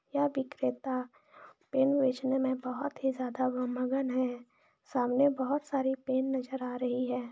यह विक्रेता पेन बेचने में बहुत ही ज्यादा मगन है सामने बहुत सारे पेन नजर आ रही है।